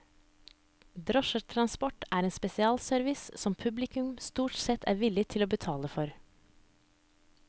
Drosjetransport er en spesialservice som publikum stort sett er villig til å betale for.